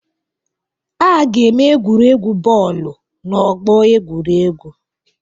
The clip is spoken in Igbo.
A ga-eme egwuregwu bọọlụ n'ọgbọ egwuregwu.